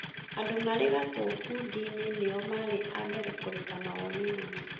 Andũ marĩ gatũ ngundi inĩ nĩo maarĩ a mbere kũruta mawoni mao